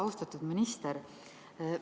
Austatud minister!